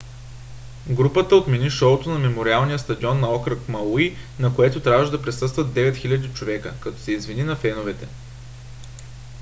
групата отмени шоуто на мемориалния стадион на окръг мауи на което трябваше да присъстват 9 000 човека като се извини на феновете